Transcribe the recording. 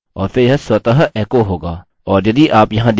और फिर यह स्वतः एको होगा